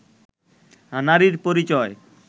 নারীর পরিচয়